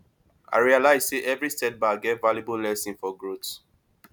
i realize sey every setback get valuable lesson for growth